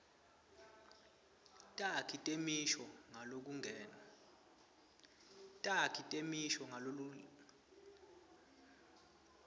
takhi temisho ngalokulingene